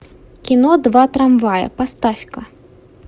кино два трамвая поставь ка